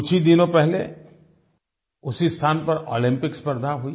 कुछ ही दिनों पहले उसी स्थान पर ओलम्पिक्स स्पर्द्धा हुई